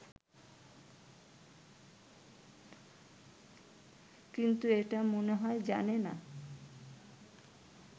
কিন্তু এটা মনে হয় জানে না